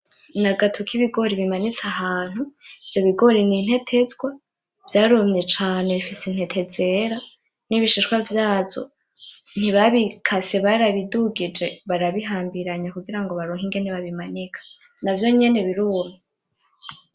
N'agatu k'ibigori bimanitse ivyo bigori n'intetezwa vyarumye cane bifise intete zera n'ibishishwa vyazo ntibabikase barabidugije barabihambiranya kugira baronke ingene babimanika navyo nyene birumye.